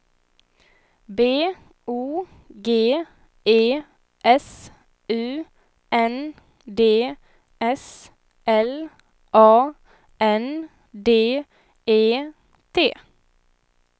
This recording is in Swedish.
B O G E S U N D S L A N D E T